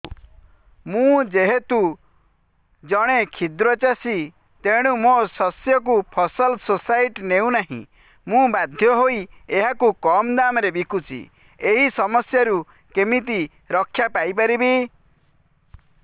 ମୁଁ ଯେହେତୁ ଜଣେ କ୍ଷୁଦ୍ର ଚାଷୀ ତେଣୁ ମୋ ଶସ୍ୟକୁ ଫସଲ ସୋସାଇଟି ନେଉ ନାହିଁ ମୁ ବାଧ୍ୟ ହୋଇ ଏହାକୁ କମ୍ ଦାମ୍ ରେ ବିକୁଛି ଏହି ସମସ୍ୟାରୁ କେମିତି ରକ୍ଷାପାଇ ପାରିବି